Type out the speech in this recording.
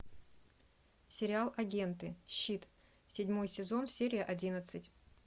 сериал агенты щит седьмой сезон серия одиннадцать